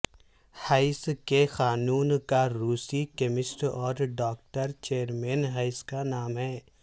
ہیس کے قانون کا روسی کیمسٹ اور ڈاکٹر جیرمین ہیس کا نام ہے